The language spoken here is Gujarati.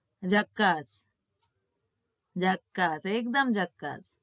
જકાશ જકાશ એકદમ જકાશ